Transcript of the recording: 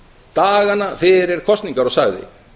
dagana fyrir kosningar og sagði